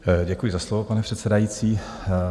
Děkuji za slovo, pane předsedající.